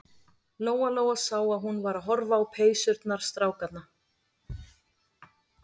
Lóa-Lóa sá að hún var að horfa á peysurnar strákanna.